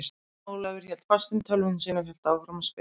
Jón Ólafur hélt fast um tölvuna sína og hélt áfram að spila.